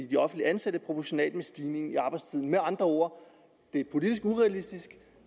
de offentligt ansatte proportionalt med stigningen i arbejdstiden med andre ord det er politisk urealistisk